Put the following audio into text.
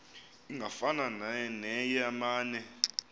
ingafana neye mane